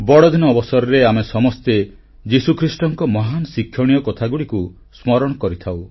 ବଡ଼ଦିନ ଅବସରରେ ଆମେ ସମସ୍ତେ ଯୀଶୁଖ୍ରୀଷ୍ଟଙ୍କ ମହାନ ଶିକ୍ଷଣୀୟ କଥାଗୁଡ଼ିକୁ ସ୍ମରଣ କରିଥାଉ